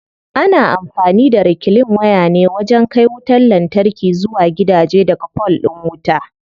Ana amfani da reclean waya ne wajen kai wutar lantarki zuwa gidaje daga fol din wuta.